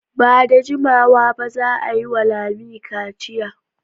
Ba da jimawa ba za a yi wa Lami kaciya.